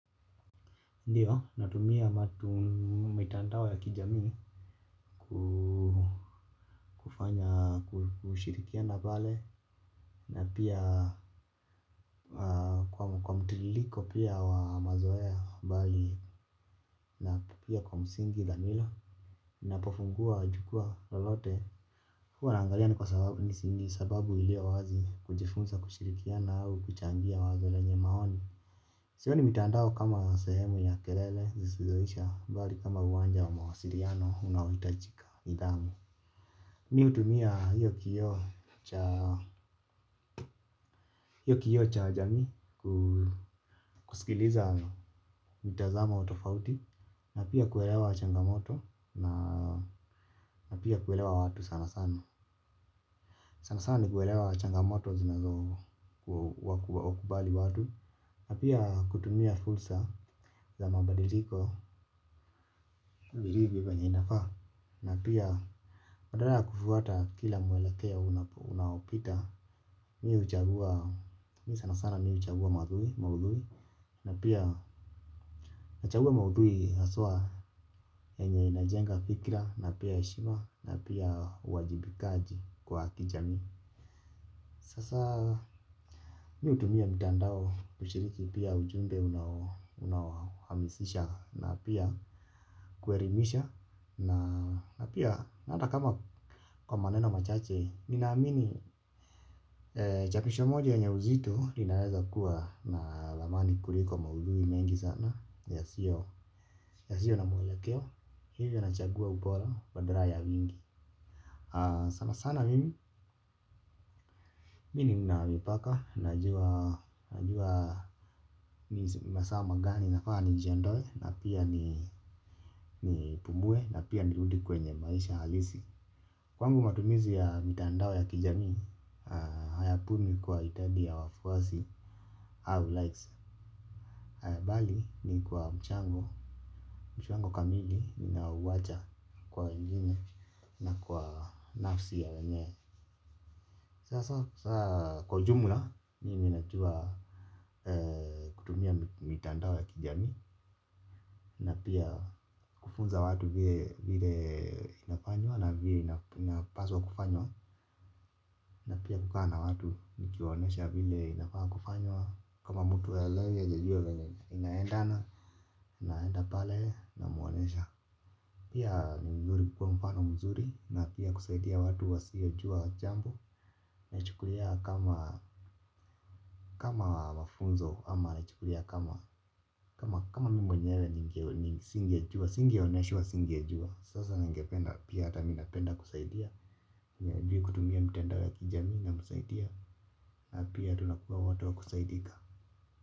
Ndiyo natumia mtandao ya kijamii kufanya kushirikiana pale na pia kwa mtiririko pia wa mazoea bali na pia kwa msingi dani lo unapofungua jukwaa lolote huwa naangalia ni sababu iliyo wazi kujifunza kushirikiana au kuchangia wazo lenye maoni. Sioni mtandao kama sehemu ya kelele zisizoisha bali kama uwanja wa mawasiliano unaohitaji nidhamu. Mimi huutumia hiyo kioo cha jamii. Kusikiliza mtazamo tofauti na pia kuelewa changamoto, na pia kuelewa watu sana sana kuelewa changamoto zinazokabili watu na pia kutumia fursa za mabadiliko. Na pia badala ya kufuata kila mwelekea unaopita mimi huchagua maudhui na pia huchagua maudhui hasa yenye inajenga fikra na pia heshima na pia uwajibikaji kijamii. Sasa mimi hutumia mtandao kushiriki pia ujumbe unaohamasisha na pia kuelimisha na pia hata kama kwa maneno machache nina amini chapisho moja yenye uzito inaweza kuwa na thamani kuliko maudhui mengi sana yasiyo na mwelekeo kwa hivyo nachagua upole badala ya mingi sana sana mimi mimi nina mipaka najua masaa gani nafaa nijiondoe na pia ni pumue na pia nirudi kwenye maisha halisi. Kwangu matumizi ya mitandao ya kijamii, hayapimwi kwa idadi ya wafuasi au likes haya, bali ni kwa mchango, mchango kamili ninaowacha kwa wengine na kwa nafsi ya wenye. Sasa kwa jumla, mimi najua kutumia mtandao ya kijamii na pia kufunza watu vile inafanywa na vile inapaswa kufanywa. Na pia kukaa na watu nikiwaonesha vile inafanywa kama mtu haelewe hajajua vile inaendana, naenda pale na mwonyesha. Pia ni vizuri kukua mfano mzuri na pia kusaidia watu wa siojua jambo na chukulia kama mafunzo ama nachukulia kama mimi mwenyewe, singeoneshwa singejua sasa ningependa pia hata mimi napenda kusaidia. Mwenye hajui kutumia mtandao ya kijamii na msaidia pia tunakuwa watu wa kusaidika.